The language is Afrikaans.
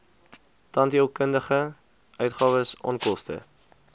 tandheelkundige uitgawes onkoste